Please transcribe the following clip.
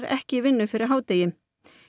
ekki í vinnu fyrir hádegi